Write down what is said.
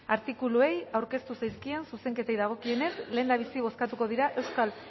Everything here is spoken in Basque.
artikuluei aurkeztu zaizkien zuzenketei dagokienez lehendabizi bozkatuko dira euskal